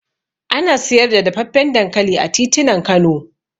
Ana siyar da dafaffen dankali a titunan Kano